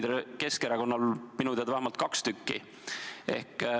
Küll on neid Keskerakonnal minu teada vähemalt kaks tükki.